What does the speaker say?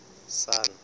sun